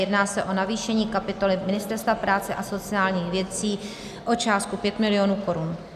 Jedná se o navýšení kapitoly Ministerstva práce a sociálních věcí o částku 5 mil. korun.